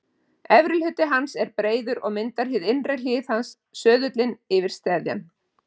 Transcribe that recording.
Efri hluti hans er breiður og myndar innri hlið hans söðullið fyrir steðjann.